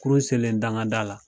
Kurun selen dangada la